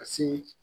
Ka se